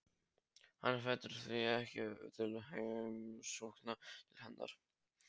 Hann hvetur því ekki til heimsókna til hennar.